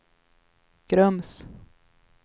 Grums